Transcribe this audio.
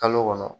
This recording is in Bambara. Kalo kɔnɔ